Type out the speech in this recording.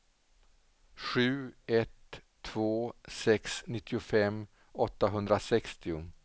sju ett två sex nittiofem åttahundrasextio